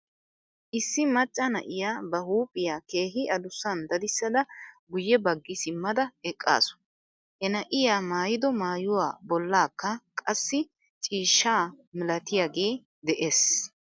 Issi macca na'iyaa ba huuphiyaa keehi adussan dadissada guyye baggi simmada eqqasu. He na'iyaa maayido maayuwaa bollakka qassi ciishsha malatiyaagee de'es.